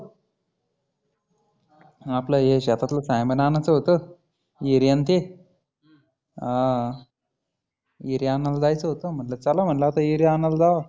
आपलं हे शेतातलं सामान आणायचं होतं. युरीया आनं ते युरीया आनायला जायचं होतं. चला म्हटलं आता युरीया आणायला जावा